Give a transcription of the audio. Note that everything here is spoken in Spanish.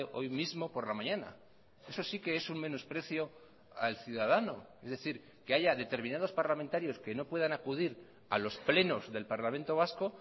hoy mismo por la mañana eso sí que es un menosprecio al ciudadano es decir que haya determinados parlamentarios que no puedan acudir a los plenos del parlamento vasco